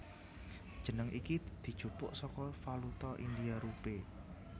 Jeneng iki dijupuk saka valuta India rupee